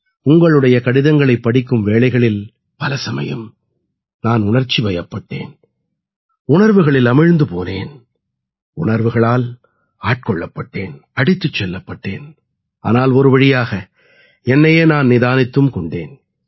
உங்களுடைய கடிதங்களைப் படிக்கும் வேளைகளில் பல சமயம் நான் உணர்ச்சிவயப்பட்டேன் உணர்வுகளில் அமிழ்ந்து போனேன் உணர்வுகளால் ஆட்கொள்ளப்பட்டேன் அடித்துச் செல்லப்பட்டேன் ஆனால் ஒருவழியாக என்னையே நான் நிதானித்தும் கொண்டேன்